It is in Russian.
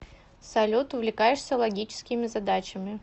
салют увлекаешься логическими задачами